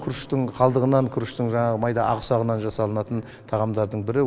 күріштің қалдығынан күріштің жаңағы майда ақ ұсағынан жасалынатын тағамдардың бірі